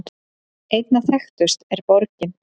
Einna þekktust er borgin